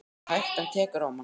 Það er hægt. en tekur á mann.